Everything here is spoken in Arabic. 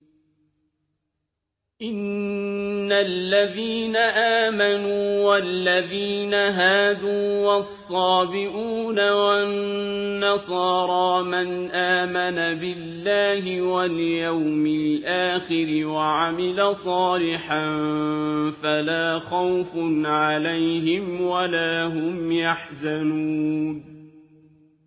إِنَّ الَّذِينَ آمَنُوا وَالَّذِينَ هَادُوا وَالصَّابِئُونَ وَالنَّصَارَىٰ مَنْ آمَنَ بِاللَّهِ وَالْيَوْمِ الْآخِرِ وَعَمِلَ صَالِحًا فَلَا خَوْفٌ عَلَيْهِمْ وَلَا هُمْ يَحْزَنُونَ